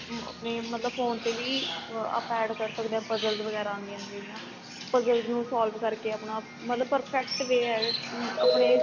ਆਪਣੇ ਮਤਲਬ phone ਤੇ ਵੀ ਆਪਾਂ add ਕਰ ਸਕਦੇ ਆ puzzles ਵਗੈਰਾ ਆਦੀਆਂ ਨੇ ਜਿਹੜੀਆਂ puzzles ਨੂੰ solve ਕਰ ਕੇ ਆਪਣਾ ਮਤਲਬ perfect way ਏ ਆਪਣੇ